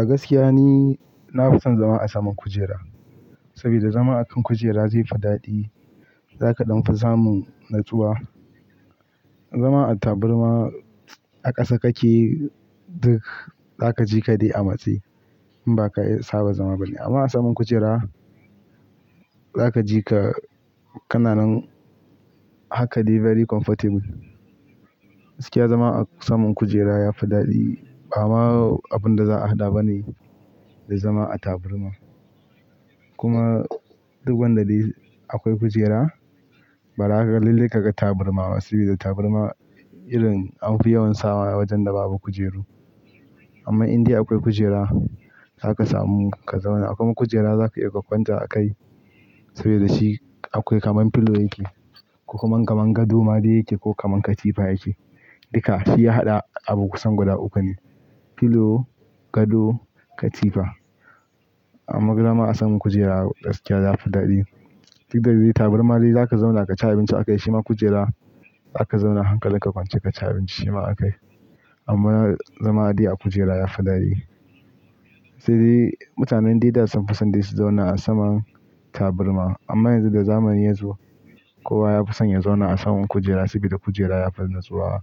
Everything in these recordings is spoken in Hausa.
A gaskiya ni, na fi son zama a saman kujera. Saboda zama a kan kujera zai fi daɗi, za ka ɗan fi samun natsuwa. Zama a taburma a ƙasa kake duk, za ka ji ka dai amatse, in ba ka saba zama bane. Amma a saman kujera za ka ji ka, kananan haka dai very comfortable. Gaskiya zama a saman kujera ya fi daɗi. Ba ma abin da za'a haɗa bane, da zama a taburma. Kuma duk wanda bai akwai kujera, bara kaga lalle ka ga taburma. Sabida taburma, irin an fi yawan sawa a wajen da babu kujeru. Amma indai akwai kujera, za ka samu ka zauna. Akwai kujera za ka iya ka kwanta a kai, saboda shi akwai kamar pillow yake, ko kuma kamar gado ma dai yake ko kamar katifa yake. Duka shi ya haɗa abu kusan guda uku ne; pillow, gado, katifa. Amma fa zama a saman kujera gaskiya ya fi daɗi. Duk da dai taburma dai za ka zauna ka ci abinci a kai shima kujera za ka zauna hankalin ka kwance ka ci abinci shima a kai. Amma zama a dai a kujera ya fi daɗi. Sai dai, mutanen da da sun fi son dai su zauna a saman taburma. Amma yanzu da zamani yazo kowa ya fi son ya zauna a saman kujera sabida kujera ya fi natsuwa,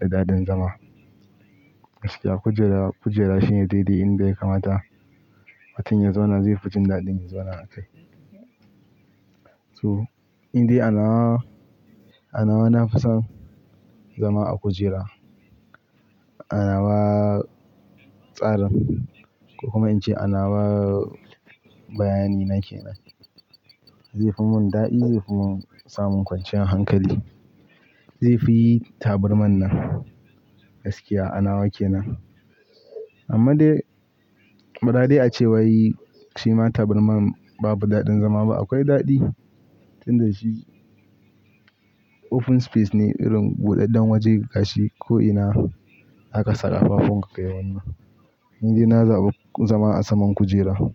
da daɗin zama. Gaskiya kujera, kujera shine dai dai inda ya kamata, mutum ya zauna zai fi jin daɗin zama a kai. So, indai a nawa, a nawa na fi son zama a kujera. A nawa tsarin, ko kuma in ce a nawa bayani na ke nan. Zai fi mun daɗi, zai fi mun samun kwanciyar hankali. Zai fi taburman nan, gaskiya a nawa ke nan. Amma dai, bara dai ace wai shi ma taburman babu daɗin zama ba, akwai daɗi. Tun da shi, open space ne irin buɗaɗɗen waje gashi ko ina zaka saka kafafuwan ka kai wannan. Ni dai na zaɓi zama a saman kujera.